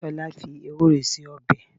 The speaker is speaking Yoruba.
Tọ́lá fi Ewúro se ọbẹ̀.